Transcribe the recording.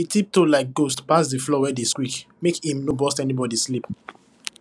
e tiptoe like ghost pass the floor wey dey squeak make im no burst anybody sleep